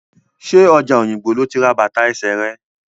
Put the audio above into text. Ṣé ọjà Òyìngbò lo ti ra bàtà ẹsẹ rẹ̀?